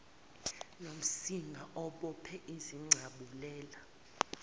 nomsinga obophe izincabulela